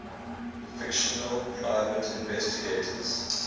fictional private investigators